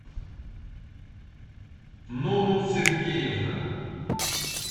нуну сергеевна